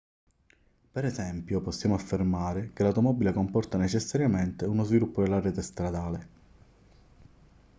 per esempio possiamo affermare che l'automobile comporta necessariamente uno sviluppo della rete stradale